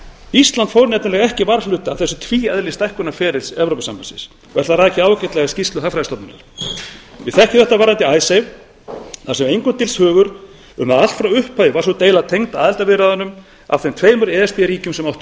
ísland fór nefnilega ekki varhluta af þessu tvíeðli stækkunarferlis evrópusambandsins og er það rakið ágætlega í skýrslu hagfræðistofnunar við þekkjum þetta varðandi icesave þar sem engum dylst hugur um að allt frá upphafi hafi sú deila verið tengd aðildarviðræðum af þeim tveimur e s b ríkjum sem áttu í